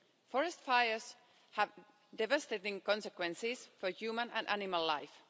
Forest fires have devastating consequences for human and animal life.